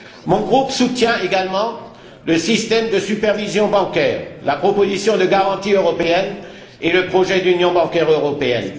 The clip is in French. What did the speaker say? Mon groupe soutient le système de supervision bancaire, la proposition de garantie européenne et le projet d'union bancaire européenne.